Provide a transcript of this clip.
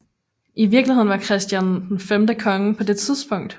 I virkeligheden var Christian X konge på det tidspunkt